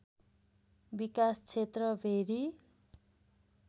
विकास क्षेत्र भेरी